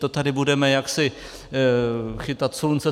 To tady budeme jaksi chytat slunce?